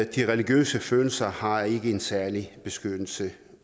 de religiøse følelser har ikke en særlig beskyttelse